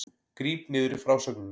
Gríp niður í frásögninni